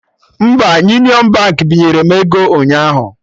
Mba, Union Baankị binyere m ego ụnyaahụ